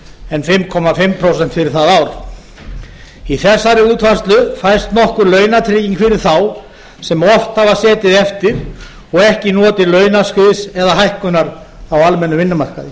en fimm og hálft prósent fyrir það ár í þessari útfærslu fæst nokkur launatrygging fyrir þá sem oft hafa setið eftir og ekki notið launaskriðs eða hækkunar á almennum vinnumarkaði